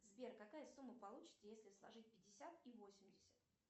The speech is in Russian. сбер какая сумма получится если сложить пятьдесят и восемьдесят